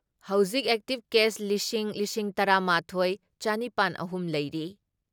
ꯍꯧꯖꯤꯛ active case ꯂꯤꯁꯤꯡ ꯂꯤꯁꯤꯡ ꯇꯔꯥ ꯃꯥꯊꯣꯏ ꯆꯥꯅꯤꯄꯥꯟ ꯑꯍꯨꯝ ꯂꯩꯔꯤ ꯫